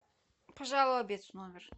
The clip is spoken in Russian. пожалуй обед в номер